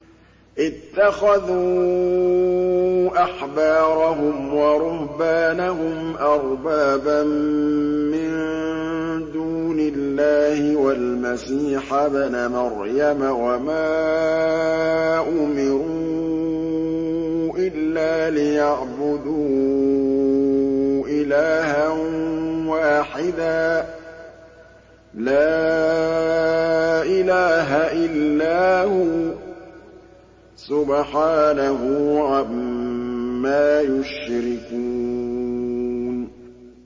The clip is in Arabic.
اتَّخَذُوا أَحْبَارَهُمْ وَرُهْبَانَهُمْ أَرْبَابًا مِّن دُونِ اللَّهِ وَالْمَسِيحَ ابْنَ مَرْيَمَ وَمَا أُمِرُوا إِلَّا لِيَعْبُدُوا إِلَٰهًا وَاحِدًا ۖ لَّا إِلَٰهَ إِلَّا هُوَ ۚ سُبْحَانَهُ عَمَّا يُشْرِكُونَ